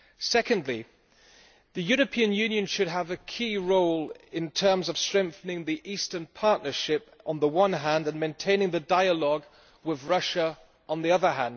Secondly, the European Union should have a key role in terms of strengthening the Eastern Partnership, on the one hand, and maintaining the dialogue with Russia on the other.